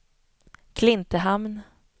Klintehamn